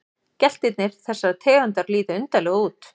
Geltirnir þessarar tegundar líta undarlega út.